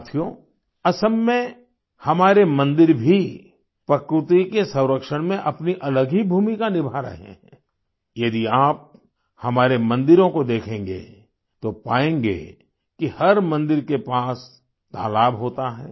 साथियो असम में हमारे मंदिर भी प्रकृति के संरक्षण में अपनी अलग ही भूमिका निभा रहे हैं यदि आप हमारे मंदिरों को देखेंगे तो पाएंगे कि हर मंदिर के पास तालाब होता है